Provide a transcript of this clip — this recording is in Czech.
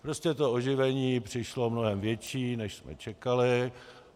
Prostě to oživení přišlo mnohem větší, než jsme čekali.